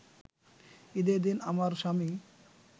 ঈদের দিন আমার স্বামী